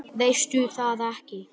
Veistu það ekki?